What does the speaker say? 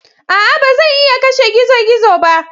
A'a! Ba zan iya kashe gizo-gizo ba.